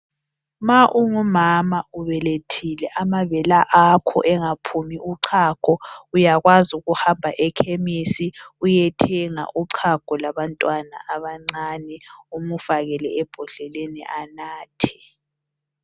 Ma ungumama ubelethile amabele akho engaphumi uchago uyakwazi ukuhamba ekhemisi uyethenga uchago lwabantwana abancane umfakele ebhodleleni anathe.